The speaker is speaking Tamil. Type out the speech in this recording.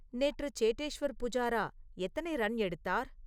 நேற்று சேட்டேஷ்வர் புஜாரா எத்தனை ரன் எடுத்தார்?